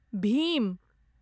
भीम